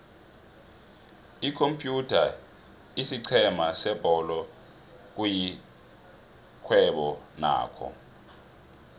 iykuphatha isiqhema sebholo kuyixhwebo nakho